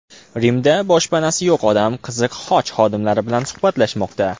Rimda boshpanasi yo‘q odam Qiziq Xoch xodimlari bilan suhbatlashmoqda.